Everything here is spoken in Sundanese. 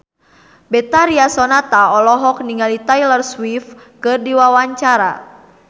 Betharia Sonata olohok ningali Taylor Swift keur diwawancara